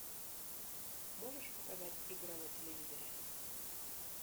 можешь показать игра на телевизоре